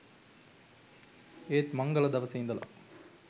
ඒත් මංගල දවසේ ඉඳලා